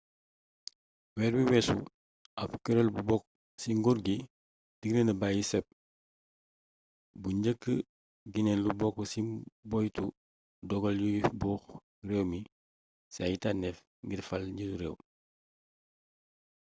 weer wii weesu ab kureel gu bokk ci nguur gi diggle na bàyyi cep gu njëkk gi ne lu bokk ci boyetu doggal yuy buux réew mi ci ay tànneef ngir fal njiitu réew